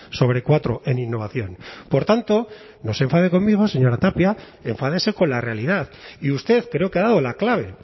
sobre cuatro en innovación por tanto no se enfade conmigo señora tapia enfádese con la realidad y usted creo que ha dado la clave